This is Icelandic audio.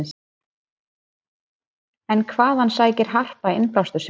En hvaðan sækir Harpa innblástur sinn?